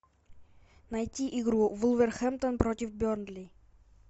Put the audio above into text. найти игру вулверхэмптон против бернли